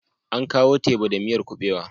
An kawo teba da miyar kuɓewa.